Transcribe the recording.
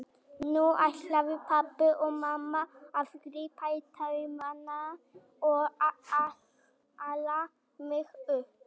Nú ætluðu pabbi og mamma að grípa í taumana og ala mig upp.